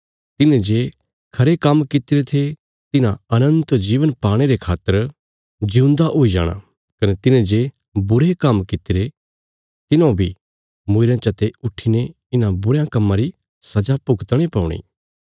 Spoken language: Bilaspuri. तिन्हेजे खरे काम्म कित्तिरे थे तिन्हां अनन्त जीवन पाणे रे खातर जिऊंदा हुई जाणा कने तिन्हे जे बुरे काम्म कित्तिरे तिन्हौ बी मूईरयां चा ते उट्ठीने इन्हां बुरयां कम्मां री सजा भुगतणे पौणी